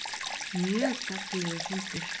Mjög gagnlegur fundur